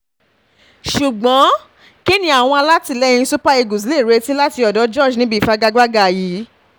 ṣùgbọ́n kíni àwọn alátìlẹyìn um super eagles lè retí um láti ọ̀dọ̀ george níbi ìfagagbádá yìí